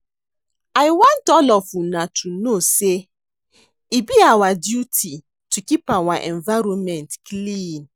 I want all of una to know say e be our duty to keep our environment clean.